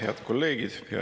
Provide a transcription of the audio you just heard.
Head kolleegid!